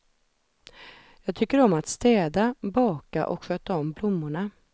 Jag tycker om att städa, baka och sköta om blommorna.